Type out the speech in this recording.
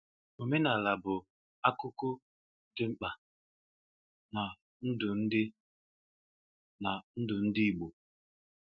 Omenala bụ akúkú dị mkpa na ndụ ndị na ndụ ndị igbo.